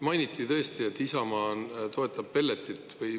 Mainiti tõesti, et Isamaa toetab pelleti.